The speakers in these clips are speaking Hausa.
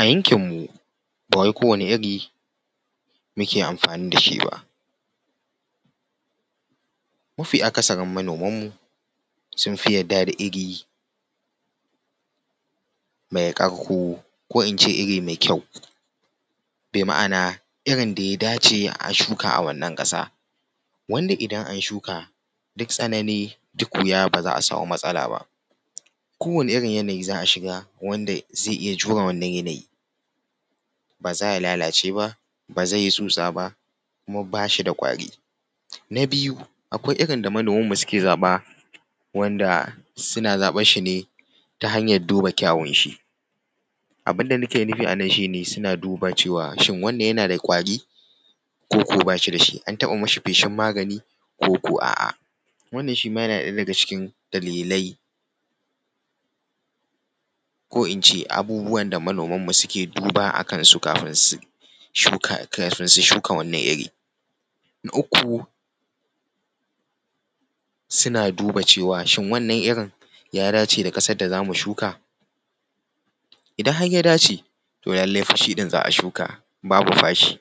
A yankin mu ba wai kowane iri muke amfani da shi ba, mafi akasarin manoman mu sun fi yarda da iri mai ƙarko ko in ce iri mai kyau, bi ma’ana irin da ya dace a shuka a wannan ƙasa, wanda idan an shuka duk tsanani duk wuya ba za a samu matsala ba kowane irin yanayi za’a shiga wanda zai iya jure wannan yanayi ba za ya lalace ba, ba zai yi tsutsa ba kuma bashi da ƙwari. Na biyu akwai iri da manoman mu suke zaɓa wanda suna zaɓar shi ne ta hanyar duba kyawun shi, abin da nake nufi anan shi ne suna duba cewa shin wannan suna da ƙwari koko bashi da shi, an taɓa yi mashi feshin magani koko a’a, wanna yana ɗaya daga cikin dalilai ko in ce abubuwan da manoman mu suke duba akan su kafin su shuka kafin su shuka wannan wannan iri. Na uku suna duba cewa shin wannan irin ya dace da ƙasar da za mu shuka, idan har ya dace toh lallai fa shi ɗin za a shuka babu fashi.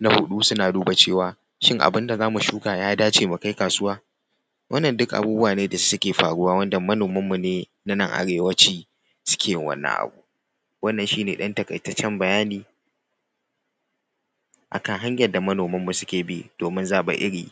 Na huɗu suna duba cewa shin abin da za mu shuka ya dace mu kai kasuwa. Wannan duka abubuwa ne da suke faruwa wanda manoman mu ne na nan arewaci suke wannan abu. Wannan shine ɗan taƙaitaccen bayani akan hanyar da manoman mu suke bi domin zaɓen iri.